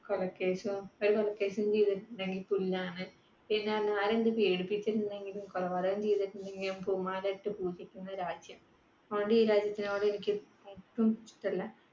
കൊലക്കേസും കുറെ കൊലക്കേസും പിന്നെ ആരെന്തു പീഡിപ്പിച്ചിട്ടുണ്ടെങ്കിലും കൊലപാതകം ചെയ്‌തിട്ടുണ്ടെങ്കിലും പൂമാലയിട്ടു പൂജിക്കുന്ന രാജ്യം. അതുകൊണ്ടു ഈ രാജ്യത്തിനോട് എനിക്ക് ഒട്ടും ഇഷ്ടമല്ല